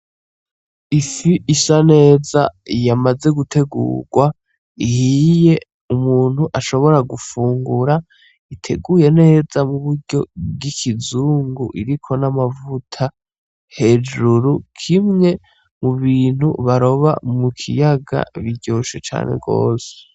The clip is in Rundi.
Ifi isa neza yamaze gutegurwa ihiye umuntu ashobora gufungura iteguwe neza mu buryo bwikizungu iriko n'amavuta hejuru kimwe mubintu baroba mu kiyaga biryoshe cane rwose.